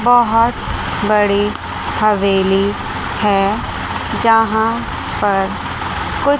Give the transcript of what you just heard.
बहोत बड़ी हवेली है जहां पर कु--